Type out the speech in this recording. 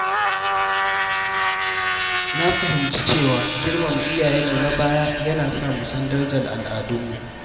Na fahimci cewa girmama iyayenmu na baya yana sa mu san darajar al’adunmu.